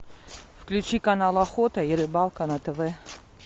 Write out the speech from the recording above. включи канал охота и рыбалка на тв